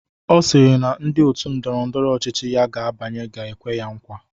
Ọ sịrị na ndị otu ndọrọ ndọrọ ọchịchị ya ga-abanye ga-ekwe ya nkwa.